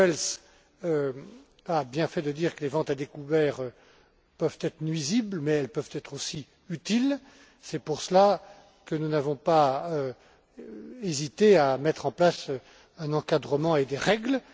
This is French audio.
M. Goebbels a bien fait de dire que les ventes à découvert peuvent être nuisibles, mais elles peuvent être aussi utiles c'est pour cela que nous n'avons pas hésité à mettre en place un encadrement et des règles.